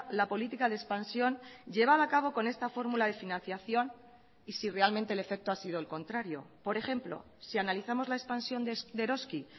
la política de expansión llevada a cabo con esta fórmula de financiación y si realmente el efecto ha sido el contrario por ejemplo si analizamos la expansión de eroski